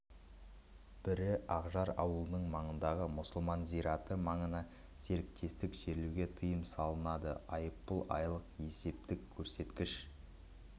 бірі ақжар ауылы маңындағы мұсылман зираты маңына серіктестік жерлеуге тыйым салынады айыппұл айлық есептік көрсеткіш